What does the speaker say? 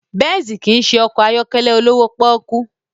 Benz kì í ṣe ọkọ̀ ayọ́kẹ́lẹ́ olówó pọ́ọ́kú